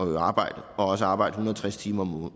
i arbejde og arbejde en hundrede og tres timer